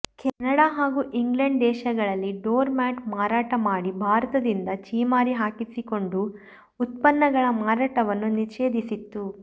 Canada ಹಾಗೂ England ದೇಶಗಳಲ್ಲಿ door mat ಮಾರಾಟ ಮಾಡಿ ಭಾರತದಿಂದ ಛೀಮಾರಿ ಹಾಕಿಸಿಕೊಂಡು ಉತ್ಪನ್ನಗಳ ಮಾರಾಟವನ್ನು ನಿಷೇಧಿಸಿತ್ತು